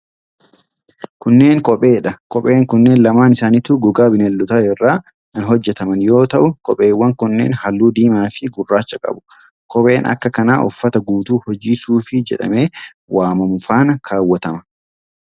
Kunneen kophee dha. Kopheen kunneen lamaan isaanituu gogaa bineeldotaa irraa kan hojjataman yoo ta'u, kopheewwan kunneen haalluu diimaa fi gurraacha qabu. Kopheen akka kanaa uffata guutuu hojii suufii jedhamee waamamu faana kaawwatama.